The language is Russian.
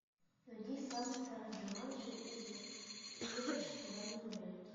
найди самый старый джуманджи из вышедших на данный момент